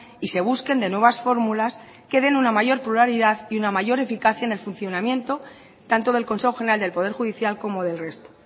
y se busquen de nuevas fórmulas que den una mayor pluralidad y una mayor eficacia en el funcionamiento tanto del consejo general del poder judicial como del resto